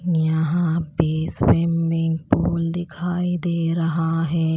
यहां पे swimming pool दिखाई दे रहा है।